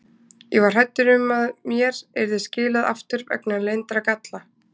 Ég var hræddur um að mér yrði skilað aftur vegna leyndra galla.